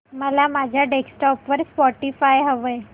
मला माझ्या डेस्कटॉप वर स्पॉटीफाय हवंय